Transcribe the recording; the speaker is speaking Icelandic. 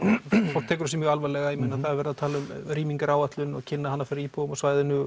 fólk tekur þessu mjög alvarlega það er verið að tala um rýmingaráætlun kynna hana fyrir íbúum á svæðinu